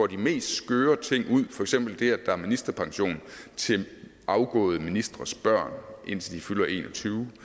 de mest skøre ting ud for eksempel det at der var ministerpension til afgåede ministres børn indtil de fyldte en og tyve